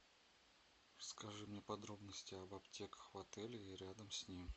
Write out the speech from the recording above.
скажи мне подробности об аптеках в отеле и рядом с ним